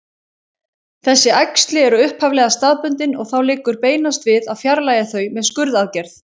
Þessi æxli eru upphaflega staðbundin og þá liggur beinast við að fjarlægja þau með skurðaðgerð.